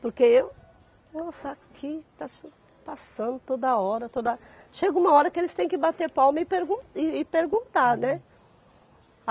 Porque eu Nossa, aqui está só passando toda hora, toda... Chega uma hora que eles têm que bater palma e pergun e e perguntar, né?